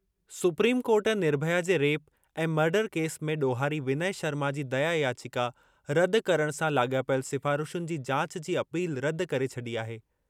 Supreme Court Nirbhaya जे rape ऐं murder case में ॾोहारी विनय शर्मा जी दया याचिका रदि करणु सां लाॻापियल सिफ़ारिशुनि जी जाच जी अपील रदि करे छॾी आहे।